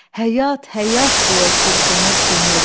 Həyat, həyat deyə çırpınır könül.